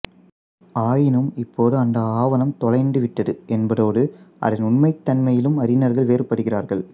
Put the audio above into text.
ஆயினும் இப்போது இந்த ஆவணம் தொலைந்து விட்டது என்பதோடு அதன் உண்மைத்தன்மையிலும் அறிஞர்கள் வேறுபடுகிறார்கள்